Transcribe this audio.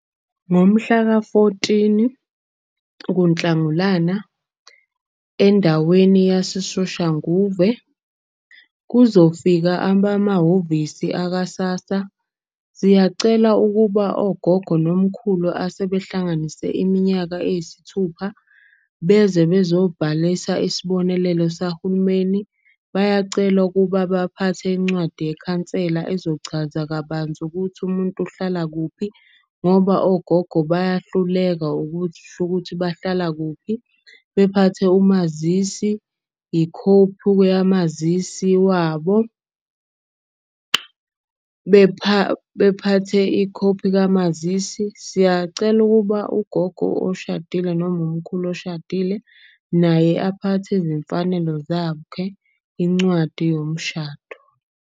Ngomhlaka-fourteen kuNhlangulana endaweni yaseSoshanguve kuzofika abamahhovisi aka-SASSA. Siyacela ukuba ogogo nomkhulu asebehlanganise iminyaka eyisithupha. Beze bezobhalisa isibonelelo sahulumeni. Bayacelwa ukuba baphathe incwadi yekhansela ezochaza kabanzi ukuthi umuntu uhlala kuphi. Ngoba ogogo bayahluleka ukuthi bahlala kuphi, bephathe umazisi, ikhophu yamazisi wabo. Bephase ikhophi kamazisi, siyacela ukuba ugogo oshadile noma umkhulu oshadile naye aphathe izimfanelo incwadi yomshado.